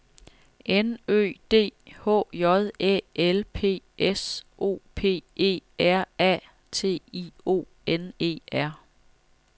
N Ø D H J Æ L P S O P E R A T I O N E R